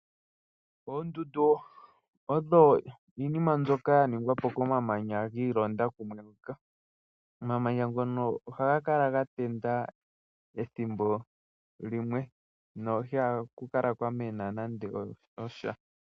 Oondundu odho iinima mbyoka ya ningwa po komamanya gi ilonda kumwe. Omamanya ngono ohaga kala ga tenda ethimbo limwe noihaku kala kwamena nande osha.